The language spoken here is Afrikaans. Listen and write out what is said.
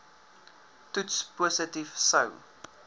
toets positief sou